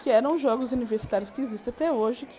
Que eram os Jogos Universitários que existem até hoje, que...